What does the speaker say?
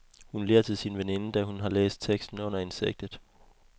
Hun ler til sin veninde, da hun har læst teksten under insektet.